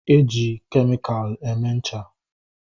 E ji kemikalụ eme ncha